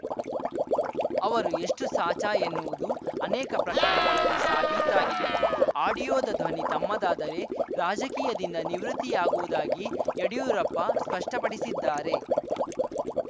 ಅವರು ಎಷ್ಟುಸಾಚಾ ಎನ್ನುವುದು ಅನೇಕ ಪ್ರಕರಣಗಳಲ್ಲಿ ಸಾಬೀತಾಗಿದೆ ಆಡಿಯೋದ ಧ್ವನಿ ತಮ್ಮದಾದರೆ ರಾಜಕೀಯದಿಂದ ನಿವೃತ್ತಿಯಾಗುವುದಾಗಿ ಯಡಿಯೂರಪ್ಪ ಸ್ಪಷ್ಟಪಡಿಸಿದ್ದಾರೆ